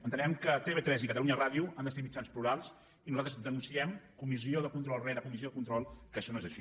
entenem que tv3 i catalunya ràdio han de ser mitjans plurals i nosaltres denunciem comissió de control rere comissió de control que això no és així